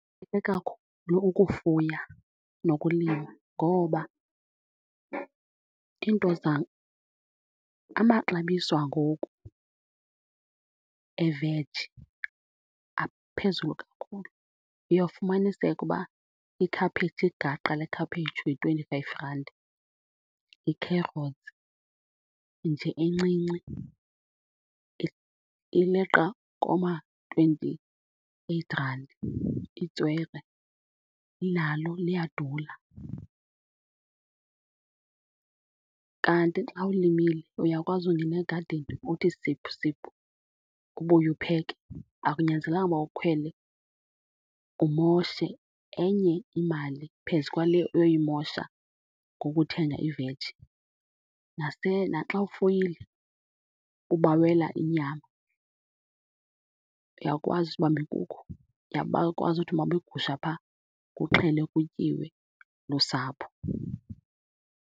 kakhulu ukufuya nokulima ngoba iinto amaxabiso angoku eveji aphezulu kakhulu. Uyawufumaniseka uba ikhaphetshu, igaqa lekhaphetshu yi-twenty-five rand, yi-carrots nje encinci ileqa kooma-twenty-eight rand, itswele nalo liyadula. Kanti xa ulimile uyakwazi ungena egadini uthi siphusiphu, ubuye upheke. Akunyanzelekanga uba ukhwele umoshe enye imali phezu kwale uyoyimosha ngokuthenga iveji. Naxa ufuyile ubawela inyama, uyakwazi sibambe inkukhu uyakwazi uthi bamba igusha phaa, kuxhelwe kutyiwe lusapho.